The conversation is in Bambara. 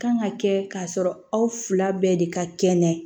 Kan ka kɛ k'a sɔrɔ aw fila bɛɛ de ka kɛnɛ